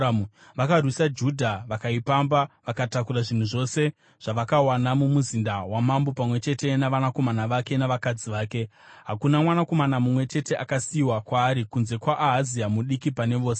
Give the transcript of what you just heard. Vakarwisa Judha, vakaipamba vakatakura zvinhu zvose zvavakawana mumuzinda wamambo pamwe chete navanakomana vake navakadzi vake. Hakuna mwanakomana mumwe chete akasiyiwa kwaari kunze kwaAhazia mudiki pane vose.